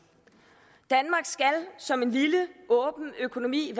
danmark skal som en lille åben økonomi